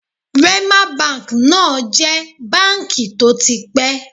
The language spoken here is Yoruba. Wema Bank náà jẹ̀ báǹkì tó ti pẹ́